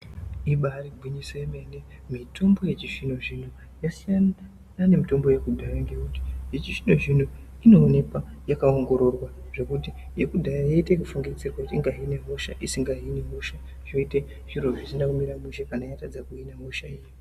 Ibaari gwinyiso yemene, mitombo yechizvino-zvino yasiyana nemitombo yekudhaya ngekuti yechizvino-zvino inoonekwa yakaongororwa zvokuti yekudhaya yaiite yekufungidzirwa kuti ingahine hosha isingahini hosha zvoite zviro zvisina kumira mushe kana yatadza kuhina hosha iya.